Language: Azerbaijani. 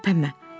Tərpənmə.